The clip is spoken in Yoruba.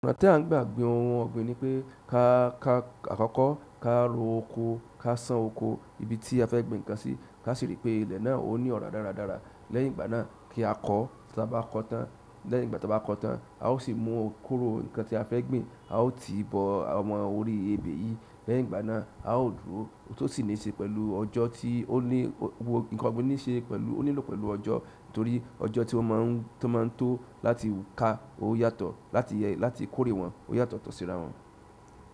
Ọ̀nà tí à n gbà gbin ohun ọ̀gbìn ni pé ká kà akọkọ ka ro oko, ká sàn oko ibi tí a fẹ́ gbin nǹkan sí, ká sì rí i pé ilẹ̀ náà ó ní ọ̀rá dára dára. Lẹ́yìn ìgbà náà kí á kọ́, tí a bá kọ́ tán lẹ́yìn ìgbà tí a bá kọ́ tán, a ó sì mú kóró ǹnkan tí a fẹ́ gbìn a ó ti bọ ọmọ orí ebè yìí. Lẹ́yìn ìgbà náà a ó dúró, to sì ní ṣe pẹ̀lú ọjọ́ tí ó ní ǹnkan ọ̀gbìn ní ṣe pẹ̀lú ó nílò pẹ̀lú ọjọ́ torí ọjọ́ tí ó má n tó láti ká ó yàtọ̀ láti kórè wọ́n ó yàtọ̀ tọ̀ síra wọ́n.